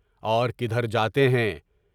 اور کدھر جاتے ہیں؟